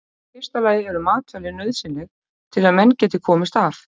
Í fyrsta lagi eru matvæli nauðsynleg til að menn geti komist af.